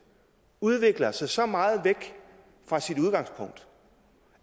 udvikler sig så meget væk fra sit udgangspunkt